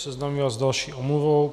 Seznámím vás s další omluvou.